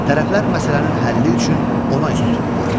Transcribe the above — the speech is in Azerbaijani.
tərəflər məsələnin həlli üçün ona üz tuturdular.